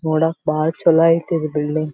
ನೋಡಕ್ಕ ಬಹಳ ಚಲೋ ಐತಿ ಬಿಲ್ಡಿಂಗ್ .